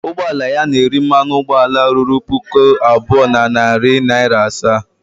Ụgbọ ala ya na-eri mmanụ ụgbọala ruru puku abụọ na narị naịra asaa